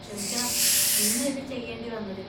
ക്ഷമിക്കണം, ഇന്ന് ഇത് ചെയ്യേണ്ടി വന്നതിൽ.